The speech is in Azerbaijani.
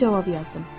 Mən cavab yazdım: